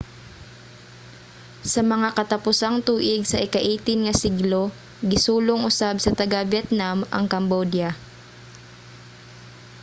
sa mga katapusang tuig sa ika-18 nga siglo gisulong usab sa taga-vietnam ang cambodia